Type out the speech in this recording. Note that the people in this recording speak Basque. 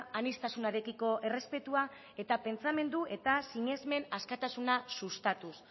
aniztasunarekiko errespetua eta pentsamendu eta sinesmen askatasuna sustatuz